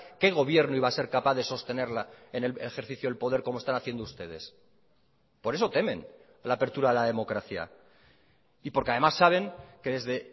qué gobierno iba a ser capaz de sostenerla en el ejercicio del poder como están haciendo ustedes por eso temen la apertura a la democracia y porque además saben que desde